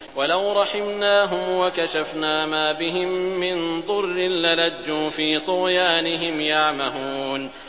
۞ وَلَوْ رَحِمْنَاهُمْ وَكَشَفْنَا مَا بِهِم مِّن ضُرٍّ لَّلَجُّوا فِي طُغْيَانِهِمْ يَعْمَهُونَ